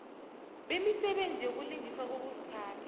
bemisebenzi yokulungiswa kokuziphatha